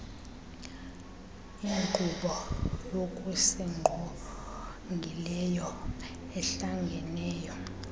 inkqubo yokusingqongileyo ehlangeneyo